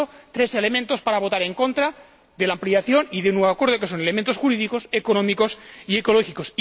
Por lo tanto, tres elementos para votar en contra de la ampliación y de un nuevo acuerdo, que son elementos jurídicos, económicos y ecológicos.